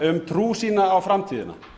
um trú sína á framtíðina